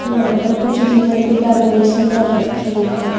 यहां पर कुछ रिबन की डेकोरेशन कर रखी है।